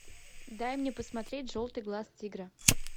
дай мне посмотреть желтый глаз тигра